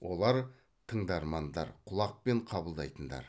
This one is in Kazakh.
олар тыңдармандар құлақпен қабылдайтындар